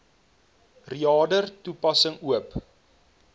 reader toepassing oop